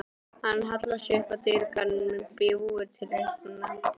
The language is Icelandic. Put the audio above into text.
Hann hallar sér upp að dyrakarminum, bljúgur til augnanna.